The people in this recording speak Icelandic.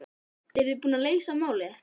Þóra: Eruð þið búnir að leysa málið?